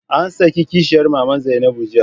An saki kishiyar maman Zainabu jiya.